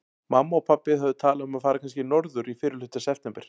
Mamma og pabbi höfðu talað um að fara kannski norður í fyrrihluta september.